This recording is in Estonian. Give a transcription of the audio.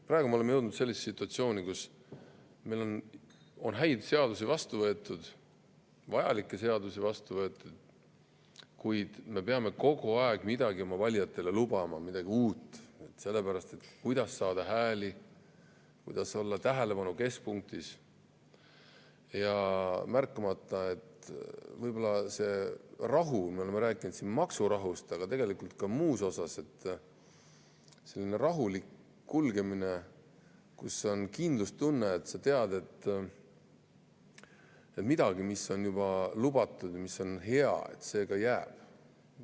Praegu me oleme jõudnud sellisesse situatsiooni, kus meil on vastu võetud häid seadusi, vajalikke seadusi, kuid me peame kogu aeg lubama oma valijatele midagi uut, selleks et saada hääli, olla tähelepanu keskpunktis, seejuures märkamata, kas see rahu – me oleme rääkinud siin maksurahust, aga tegelikult ka muus mõttes rahust –, selline rahulik kulgemine, kus on kindlustunne, et sa tead, et midagi, mis on juba lubatud ja mis on hea, ka jääb.